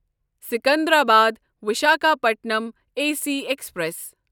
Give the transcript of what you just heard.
Secunderabad Visakhapatnam A C express